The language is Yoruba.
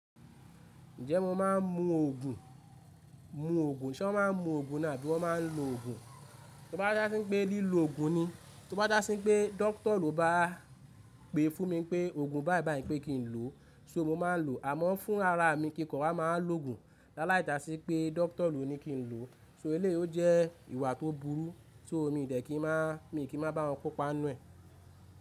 Ǹjẹ́ mo máa ń mu òògùn, ṣé wọ́n máa ń mu òògùn ni abí wọ́n maa ń lo òògùn? Tí bá dá sí pé lílò òògùn ni, tí wọ́n bá dá sí pé dókítà ló bá pè fún mi pé òògùn bíbí pé kín ló so mo máa lo àmó fúnrara mi kín ko wa máa lo gùn lele jásí pé dóktó ló ní kín ló so è lè jé èwà tó bú rú so mi dé kín máa mi kín máa gbà won kó pàá nu e.